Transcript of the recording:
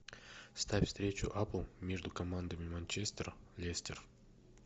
ставь встречу апл между командами манчестер лестер